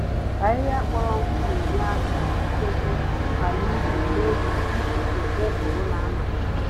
Ahịhịa kpọrọ nkụ Na-Enye àkà ichekwa àlà ubim n'oge ifufe ụgụrụ na-amalite